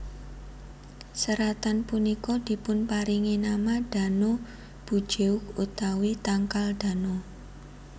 Seratan punika dipunparingi nama Dano bujeok utawi tangkal Dano